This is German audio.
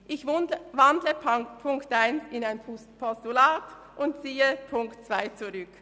Ich wandle den Punkt 1 in ein Postulat um und ziehe den Punkt 2 zurück.